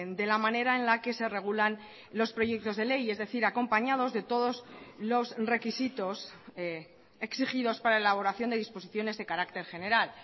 de la manera en la que se regulan los proyectos de ley es decir acompañados de todos los requisitos exigidos para la elaboración de disposiciones de carácter general